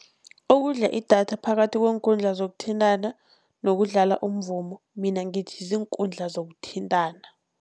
Okudla idatha phakathi kweenkundla zokuthintana nokudlala umvumo, mina ngithi ziinkundla zokuthintana.